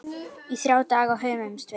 Í þrjá daga hömumst við.